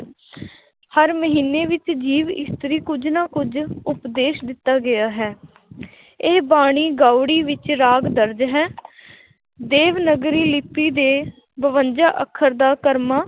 ਹਰ ਮਹੀਨੇ ਵਿੱਚ ਜੀਵ ਇਸਤਰੀ ਕੁੱਝ ਨਾ ਕੁੱਝ ਉਪਦੇਸ਼ ਦਿੱਤਾ ਗਿਆ ਹੈ ਇਹ ਬਾਣੀ ਗਾਉੜੀ ਵਿੱਚ ਰਾਗ ਦਰਜ਼ ਹੈ ਦੇਵਨਾਗਰੀ ਲਿਪੀ ਦੇ ਬਵੰਜਾ ਅੱਖਰ ਦਾ ਕਰਮਾ